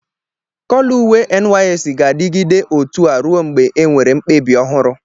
kọlọ uwe ndi NYSC ga-adịgidé otu a ruo mgbe enwere mkpebi ohuru